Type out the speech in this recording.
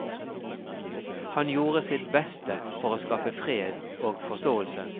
Han gjorde sitt beste for å skaffe fred og forståelse.